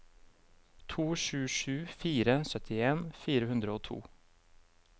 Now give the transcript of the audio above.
to sju sju fire syttien fire hundre og to